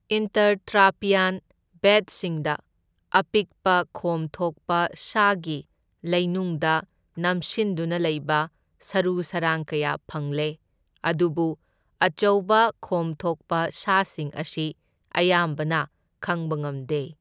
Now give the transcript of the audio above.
Intertrappean ꯕꯦꯗꯁꯤꯡꯗ ꯑꯄꯤꯛꯄ ꯈꯣꯝ ꯊꯣꯛꯄ ꯁꯥꯒꯤ ꯂꯩꯅꯨꯡꯗ ꯅꯝꯁꯤꯟꯗꯨꯅ ꯂꯩꯕ ꯁꯔꯨ ꯁꯔꯥꯡ ꯀꯌꯥ ꯐꯪꯂꯦ, ꯑꯗꯨꯕꯨ ꯑꯆꯧꯕ ꯈꯣꯝ ꯊꯣꯛꯄ ꯁꯥꯁꯤꯡ ꯑꯁꯤ ꯑꯌꯥꯝꯕꯅ ꯈꯪꯕ ꯉꯝꯗꯦ꯫